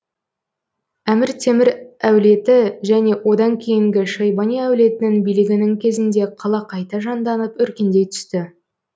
әмір темір әулеті және одан кейінгі шайбани әулетінің билігінің кезінде қала қайта жанданып өркендей түсті